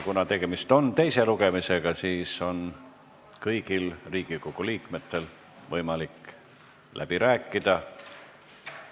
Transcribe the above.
Kuna tegemist on teise lugemisega, siis on kõigil Riigikogu liikmetel võimalik läbi rääkida.